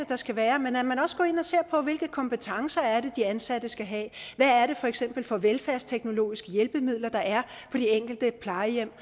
der skal være men også går ind og ser på hvilke kompetencer det er de ansatte skal have hvad er det for eksempel for velfærdsteknologiske hjælpemidler der er på de enkelte plejehjem